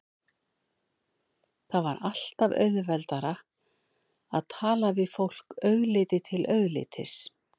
Það var alltaf auðveldara að tala við fólk augliti til auglitis.